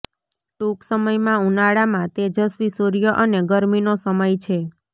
ટૂંક સમયમાં ઉનાળામાં તેજસ્વી સૂર્ય અને ગરમીનો સમય છે